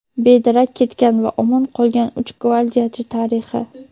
bedarak ketgan va omon qolgan uch gvardiyachi tarixi.